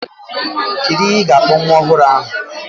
Kedu ihe ị ga-akpọ nwa ọhụrụ ahụ?